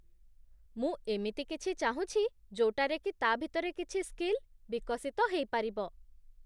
ମୁଁ ଏମିତି କିଛି ଚାହୁଁଛି ଯୋଉଟାରେକି ତା' ଭିତରେ କିଛି ସ୍କିଲ୍ ବିକଶିତ ହେଇପାରିବ ।